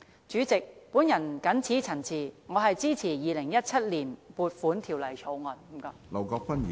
主席，我謹此陳辭，支持《2017年撥款條例草案》，多謝。